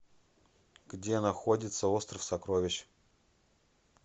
где находится остров сокровищ